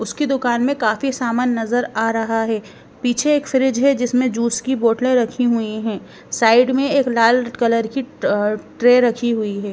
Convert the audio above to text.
उसकी दुकान में काफी समान नजर आ रहा हैं पीछे एक फ्रिज है जिसमें जूस की बोतलें रखी हुई हैं साइड में एक लाल कलर की ट-ट्रे रखी हुई है।